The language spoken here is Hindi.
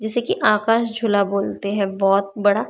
जिसे कि आकाश झूला बोलते हैं बहुत बड़ा।